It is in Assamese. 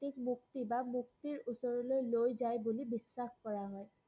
ই মুক্তি বা মুক্তিৰ ওচৰলৈ লৈ যায় বুলি বিশ্বাস কৰা হয়।